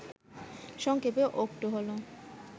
সংক্ষেপে অক্টো হল